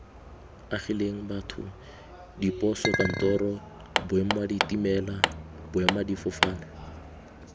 agileng batho diposokantoro boemaditimela boemadifofane